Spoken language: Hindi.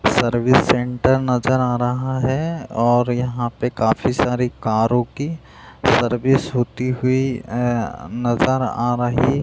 सर्विस सेंटर नज़र आ रहा है और यहाँ पे काफ़ी सारी कारो की सर्विस होती हुई अ नजर आ रही --